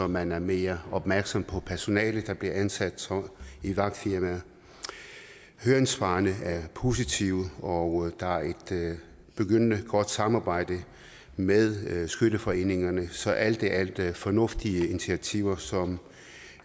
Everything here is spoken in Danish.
man er mere opmærksom på det personale der bliver ansat i vagtfirmaer høringssvarene er positive og der er et begyndende godt samarbejde med skytteforeningerne så alt i alt er fornuftige initiativer som